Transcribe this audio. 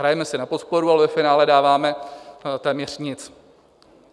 Hrajeme si na podporu, ale ve finále dáváme téměř nic.